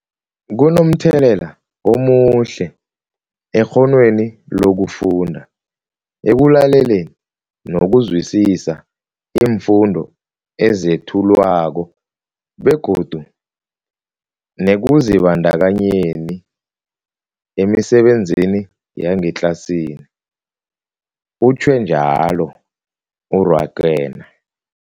Kunomthelela omuhle ekghonweni lokufunda, ekulaleleni nokuzwisiswa iimfundo ezethulwako begodu nekuzibandakanyeni emisebenzini yangetlasini, utjhwe njalo u-Rakwena.